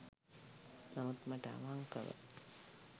නමුත් මට අවංකව